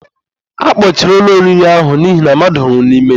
A kpọchiri ụlọ oriri ahụ n'ihi na mmadụ nwụrụ n'ime ya.